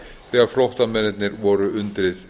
þegar flóttamennirnir voru undir